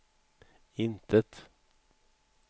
intet